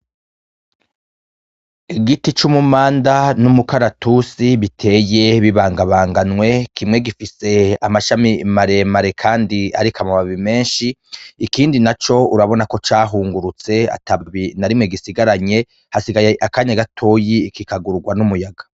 Igiti cumumanda n'umukaratusi biteye bibangabanganywe kimwe gifise amashami maremare ariko amababi menshi ikindi naco urabonako cahungurutse atababi narimwe gisigaranye hasigaye akanya gatoyi kikagururwa numuyaga.